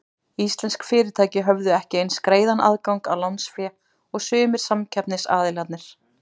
Íslensk fyrirtæki höfðu ekki eins greiðan aðgang að lánsfé og sumir samkeppnisaðilarnir.